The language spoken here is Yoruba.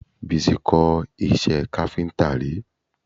Bísí kọ́ iṣẹ́ káfíńtà rí